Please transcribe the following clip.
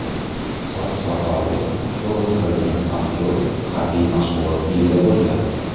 Soch-soqoli to‘liq qirilgan aktyor harbiy mashg‘ulot kiyimida bo‘lgan.